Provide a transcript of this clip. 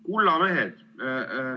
Kulla mehed!